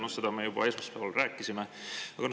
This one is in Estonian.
Seda me juba esmaspäeval rääkisime.